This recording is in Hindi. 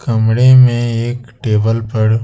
कमरे में एक टेबल पर--